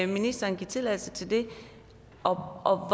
ministeren give tilladelse til det og